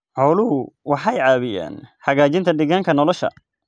Xooluhu waxay caawiyaan hagaajinta deegaanka nolosha.